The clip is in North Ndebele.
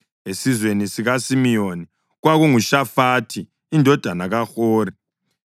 esizweni sikaSimiyoni, kwakunguShafathi indodana kaHori;